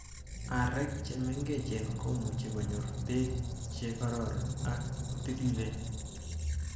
Areek che mengechen komoche konyor beek che koroon ak kotilileen.